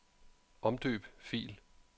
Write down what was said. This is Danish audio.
Omdøb fil.